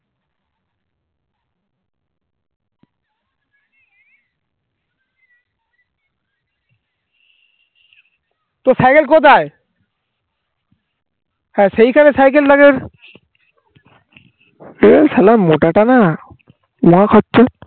তোর cycle কোথায় হে সেই খানে cycle টাকে এই shala মোটাটানা খাচ্ছে